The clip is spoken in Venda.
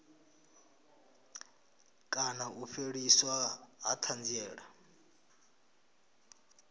kana u fheliswa ha thanziela